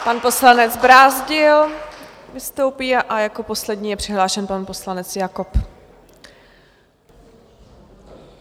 Pan poslanec Brázdil vystoupí a jako poslední je přihlášený pan poslanec Jakob.